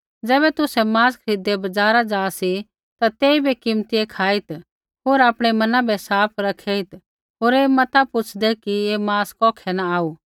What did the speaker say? ज़ैबै तुसै मांस खरीददै बज़ार जा सी ता तेइबै कीमतियै खाईत् होर आपणै मना बै साफ़ रखेइत् होर ऐ मता पूछ़दै कि ऐ मांस कौखै न आऊ